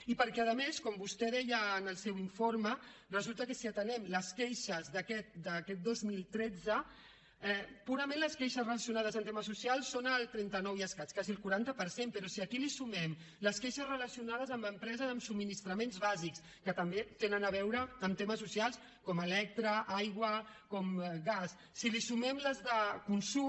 i perquè a més com vostè deia en el seu informe resulta que si atenem les queixes d’aquest dos mil tretze purament les queixes relacionades amb temes socials són el trenta nou i escaig quasi el quaranta per cent però si aquí hi sumem les queixes relacionades amb empreses de subministraments bàsics que també tenen a veure amb temes socials com electricitat aigua gas si hi sumem les de consum